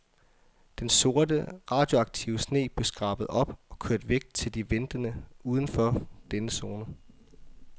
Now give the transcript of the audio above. Den sorte radioaktive sne blev skrabet op og kørt væk til de ventende uden for denne zone.